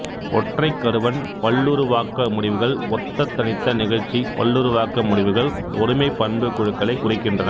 ஒற்றைக் கருவன் பல்லுருவாக்க முடிவுகள் ஒத்த தனித்த நிகழ்ச்சி பல்லுருவாக்க முடிவுகள் ஒருமைப் பண்புக் குழுக்களைக் குறிக்கின்றன